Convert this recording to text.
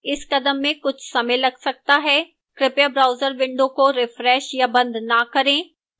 इस कदम में कुछ समय लग सकता है कृपया browser window को refresh या बंद न करें